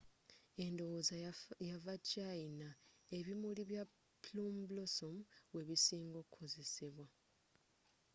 edowooza yava china ebimuri bya plum blossoms webisinga okukozesebwa